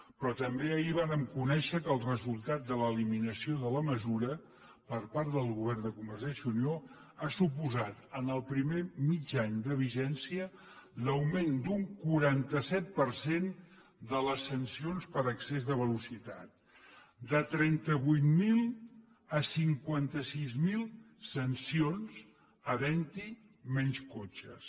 però també ahir vàrem conèixer que el resultat de l’eliminació de la mesura per part del govern de convergència i unió ha suposat en el primer mig any de vigència l’augment d’un quaranta set per cent de les sancions per excés de velocitat de trenta vuit mil a cinquanta sis mil sancions havent hi menys cotxes